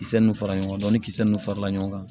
Kisɛ ninnu fara ɲɔgɔn kan ni kisɛ nunnu farala ɲɔgɔn kan